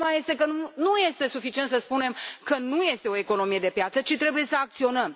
Problema este că nu este suficient să spunem că nu este o economie de piață, ci trebuie să acționăm.